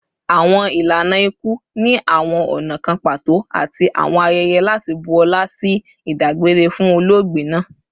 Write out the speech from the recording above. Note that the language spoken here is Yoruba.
Awọn ilana iku ni awọn ọna kan pato ati awọn ayẹyẹ lati bu ọla ati idagbere fun ologbe naa